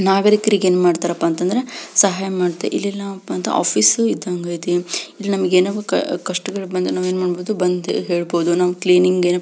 ನಾಗರಿಕರಿಗೆ ಏನ್ ಮಾಡ್ತರ್ ಅಪ ಅಂದ್ರೆ ಸಹಾಯ ಮಾಡ್ತರ್ ಇಲ್ಲೆಲ್ಲಾ ಒಂದು ಆಫೀಸ್ ಇದ್ದಂಗ ಆಯ್ತಿ.